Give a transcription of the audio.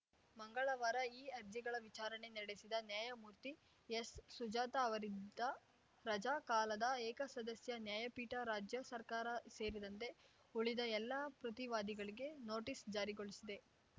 ಮಂಗಳವಾರ ಈ ಅರ್ಜಿಗಳ ವಿಚಾರಣೆ ನಡೆಸಿದ ನ್ಯಾಯಮೂರ್ತಿ ಎಸ್‌ ಸುಜಾತ ಅವರಿದ್ದ ರಜಾ ಕಾಲದ ಏಕಸದಸ್ಯ ನ್ಯಾಯಪೀಠ ರಾಜ್ಯ ಸರ್ಕಾರ ಸೇರಿದಂತೆ ಉಳಿದ ಎಲ್ಲ ಪ್ರತಿವಾದಿಗಳಿಗೆ ನೋಟಿಸ್‌ ಜಾರಿಗೊಳಿಸಿದೆ